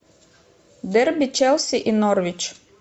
дерби челси и норвич